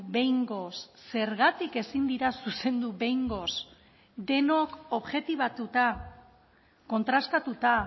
behingoz zergatik ezin dira zuzendu behingoz denok objetibatuta kontrastatuta